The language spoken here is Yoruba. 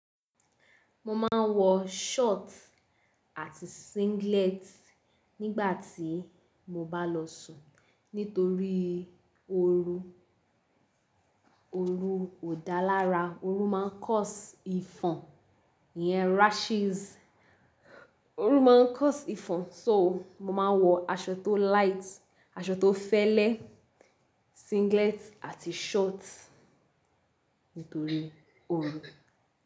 Mo máa ń wọ short àti singlet nígbà tí mo bá lọ sùn nítorí oorù Ooru ò dá lara, oorun máa ń cause ifàn iyen rashes. Ooru máa ń cause ifàn, so màá wọ aṣọ tó light, aṣọ tó fẹ́lẹ́, singlet àti short nítorí ooru.